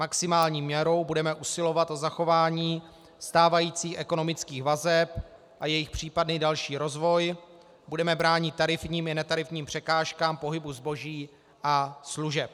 Maximální měrou budeme usilovat o zachování stávajících ekonomických vazeb a jejich případný další rozvoj, budeme bránit tarifním i netarifním překážkám pohybu zboží a služeb.